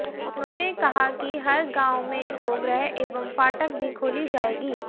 उन्होंने कहा कि हर गांव में गौगृह एवं फाटक भी खोली जाएगी